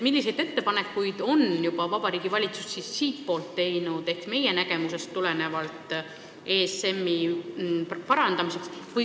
Milliseid ettepanekuid on Vabariigi Valitsus teinud, pidades silmas meie arusaama ESM-i efektiivsuse suurendamisest?